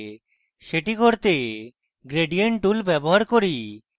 সেটি করতে আমি gradient tool ব্যবহার করি